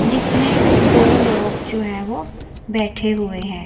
जिसमें दो लोग जो है वो बैठे हुए हैं।